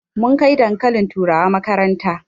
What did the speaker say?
Mun kai dankalin turawa makaranta